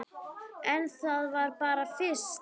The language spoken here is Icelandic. En það var bara fyrst.